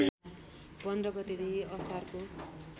१५ गतेदेखि असारको